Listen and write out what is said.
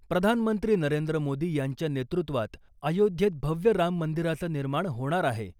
प्रधानमंत्री नरेंद्र मोदी यांच्या नेतृत्वात अयोध्येत भव्य राम मंदिराचं निर्माण होणार आहे .